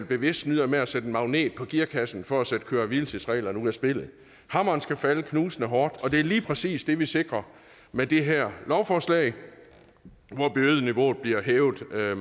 bevidst snyder med at sætte en magnet på gearkassen for at sætte køre hvile tids reglerne ud af spillet hammeren skal falde knusende hårdt og det er lige præcis det vi sikrer med det her lovforslag hvor bødeniveauet bliver hævet